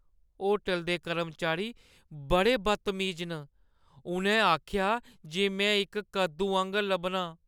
Hotel दे कर्मचारी बड़े बदतमीज न। उʼन्नै आखेआ जे में इक कद्दू आंह्‌गर लब्भनां।